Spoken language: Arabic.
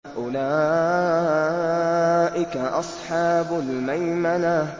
أُولَٰئِكَ أَصْحَابُ الْمَيْمَنَةِ